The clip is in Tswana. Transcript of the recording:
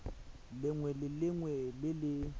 lengwe le lengwe le le